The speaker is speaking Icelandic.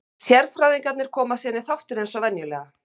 Sérfræðingarnir koma síðan í þáttinn eins og venjulega.